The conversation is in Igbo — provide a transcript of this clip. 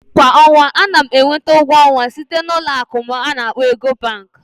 Kwa ọnwa, ana m enweta ụgwọ ọnwa site na Ụlọ akụ'm ana akkpo Ecobank